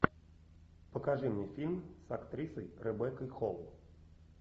покажи мне фильм с актрисой ребеккой холл